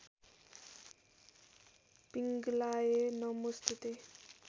पिङ्गलाय नमोस्तुते